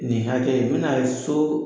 Nin hakɛ, n bɛna so